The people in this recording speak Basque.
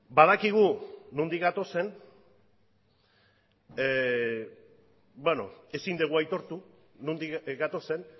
badakigu nondik gatozen ezin dugu aitortu nondik gatozen